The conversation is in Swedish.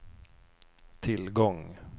tillgång